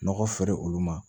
Nɔgɔ feere olu ma